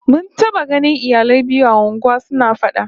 Mun taba ganin iyalai biyu a unguwa suna fada